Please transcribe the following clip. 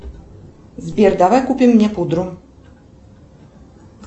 сбер давай купим мне пудру